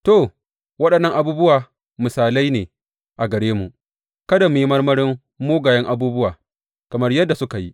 To, waɗannan abubuwa misalai ne a gare mu, kada mu yi marmarin mugayen abubuwa, kamar yadda suka yi.